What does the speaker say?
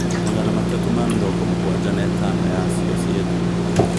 Magana matatu ma mĩrongo mūgwanja na ĩtano yacio ciĩ thumu.